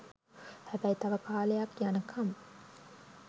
හැබැයි තව කාලයක් යන කම්